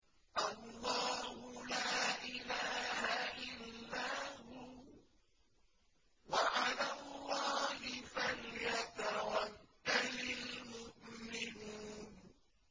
اللَّهُ لَا إِلَٰهَ إِلَّا هُوَ ۚ وَعَلَى اللَّهِ فَلْيَتَوَكَّلِ الْمُؤْمِنُونَ